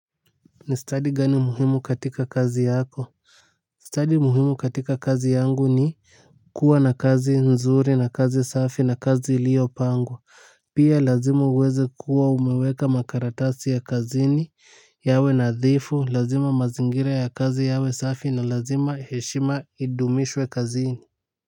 Ni study gani muhimu katika kazi yako study muhimu katika kazi yangu ni kuwa na kazi nzuri na kazi safi na kazi iiopangwa pia lazima uweze kuwa umeweka makaratasi ya kazini yawe nadhifu lazima mazingira ya kazi yawe safi na lazima heshima idumishwe kazini.